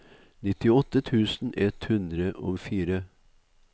nittiåtte tusen ett hundre og fire